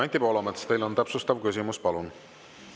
Anti Poolamets, teil on täpsustav küsimus, palun!